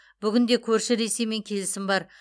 бүгінде көрші ресеймен келісім бар